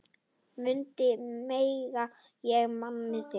Mundu mig, ég man þig.